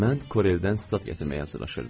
Mən Koreldən stat gətirməyə hazırlaşırdım.